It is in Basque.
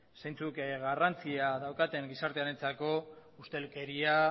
zeintzuk garrantzia daukaten gizartearentzako ustelkeria